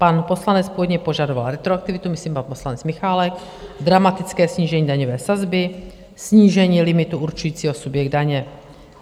Pan poslanec původně požadoval retroaktivitu, myslím pan poslanec Michálek, dramatické snížení daňové sazby, snížení limitu určujícího subjekt daně.